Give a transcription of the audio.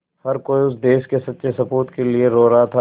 हर कोई उस देश के सच्चे सपूत के लिए रो रहा था